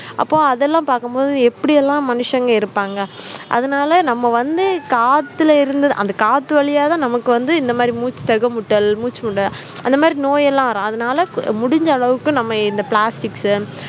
அப்போ அதெல்லாம் பார்க்கும் போது எப்படியெல்லாம் மனுஷங்க இருப்பாங்க அதனால நம்ம வந்து காத்துல இருந்து அந்த காத்து வழியா தான் நமக்கு வந்து இந்த மாதிரி மூச்சு தெக முட்டல் மூச்சு முட்டல் அந்த மாதிரி நோயெல்லாம் வரும் அதனால முடிஞ்ச அளவுக்கு நம்ம இந்த plastics